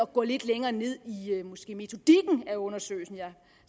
gå lidt længere ned i metodikken af undersøgelsen jeg